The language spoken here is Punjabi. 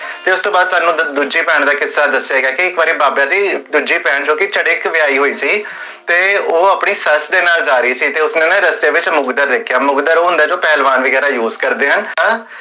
ਤੇ ਉਸ ਤੋ ਬਾਦ ਤੁਹਾਨੂ ਦੂਜੀ ਭੇਣ ਦਾ ਕਿੱਸਾ ਦਸਿਆ